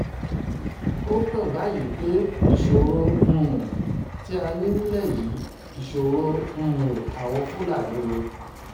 ó hàn báyìí pé ìṣòro um tí a ní nílẹ̀ yìí ìṣòro um àwọn fúlàní ni